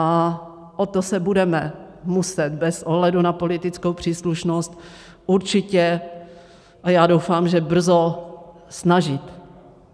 A o to se budeme muset bez ohledu na politickou příslušnost určitě - a já doufám, že brzo - snažit.